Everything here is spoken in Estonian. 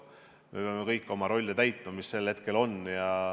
Me peame kõik oma rolli täitma, mis meil sel hetkel on.